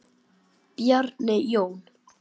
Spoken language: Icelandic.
Bjarni Jón.